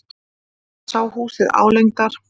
Sá húsið álengdar.